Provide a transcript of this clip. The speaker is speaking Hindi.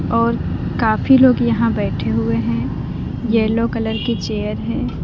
और काफी लोग यहां बैठे हुए हैं येलो कलर की चेयर है।